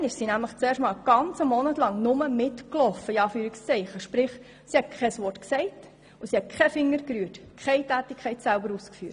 Damals begleitete sie nämlich den Hausarzt während einem ganzen Monat und hat weder etwas gesagt noch eine Tätigkeit selber ausgeführt.